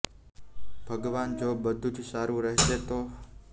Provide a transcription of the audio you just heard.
ભગવાન જો બધું જ સારું રહેશે તો હું તમારા કોઈ પણ મંદિરમાં રૂ